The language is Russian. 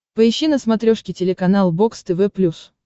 поищи на смотрешке телеканал бокс тв плюс